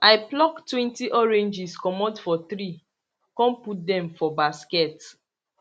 i pluck twenty oranges comot for tree con put dem for basket